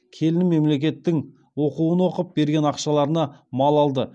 келінім мемлекеттің оқуын оқып берген ақшаларына мал алды